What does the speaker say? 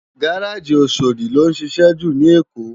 Gáráji Óṣódi ló nšišẹ jú ni Ékó